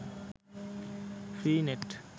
free net